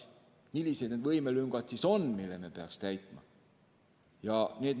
Millised need võimelüngad siis on, mille me peaksime täitma?